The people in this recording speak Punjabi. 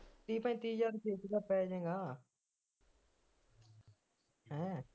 ਤੀਹ ਪੈਂਤੀ ਦਾ ਪੈ ਜੇਗਾ ਹੈ